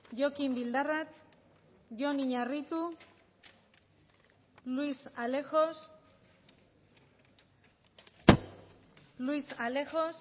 jokin bildarratz jon iñarritu luis alejos luis alejos